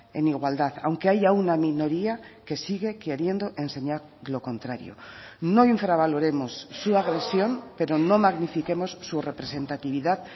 en igualdad aunque haya una minoría que sigue queriendo enseñar lo contrario no infravaloremos su agresión pero no magnifiquemos su representatividad